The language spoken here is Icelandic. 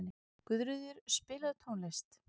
Guðríður, spilaðu tónlist.